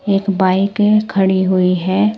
एक बाइक खड़ी हुई है।